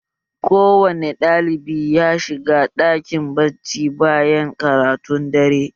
Ko wane ɗalibi ya shiga ɗakin bacci bayan karatun dare!